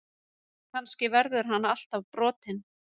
Kannski verður hann alltaf brotinn.